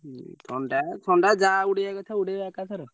ହୁଁ ଥଣ୍ଡା ଥଣ୍ଡା ଯାହା ଉଡେଇଆ କଥା ଉଡେଇଆ ଏକାଥରେ।